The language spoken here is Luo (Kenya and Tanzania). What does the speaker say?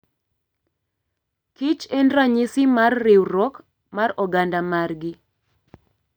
kich en ranyisi mar riwruok mar oganda margi